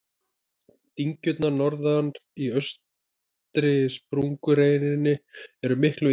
Dyngjurnar norðar á eystri sprungureininni eru miklu yngri.